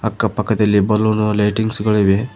ಅಕ್ಕ ಪಕ್ಕದಲ್ಲಿ balloon lightings ಗಳು ಇವೆ.